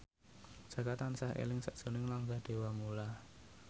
Jaka tansah eling sakjroning Rangga Dewamoela